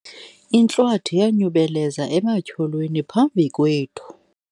intlwathi yanyubelezela ematyholweni phambi kwethu